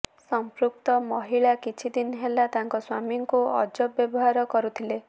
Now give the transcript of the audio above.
ସଂପୃକ୍ତ ମହିଳା କିଛିଦିନ ହେଲା ତାଙ୍କ ସ୍ବାମୀଙ୍କୁ ଅଜବ ବ୍ୟବହାର କରୁଥିଲେ